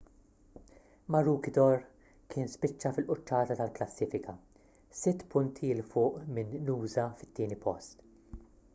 maroochydore kien spiċċa fil-quċċata tal-klassifika sitt punti l fuq minn noosa fit-tieni post